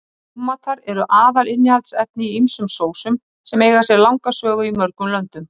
Tómatar eru aðalinnihaldsefni í ýmsum sósum sem eiga sér langa sögu í mörgum löndum.